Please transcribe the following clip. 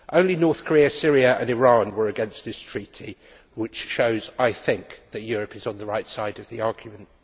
Only North Korea, Syria and Iran were against this treaty which shows, I think, that Europe is on the right side of the argument.